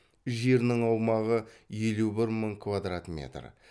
жерінің аумағы елу бір мың квадрат метр